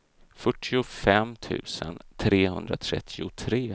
fyrtiofem tusen trehundratrettiotre